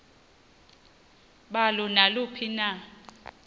balo naluphi na